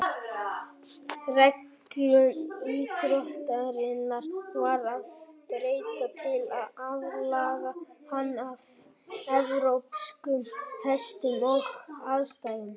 Reglum íþróttarinnar varð að breyta til að aðlaga hana að evrópskum hestum og aðstæðum.